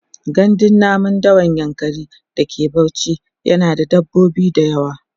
gandun namun dawan yankari da ke Bauchi yana da dabbobi da yawa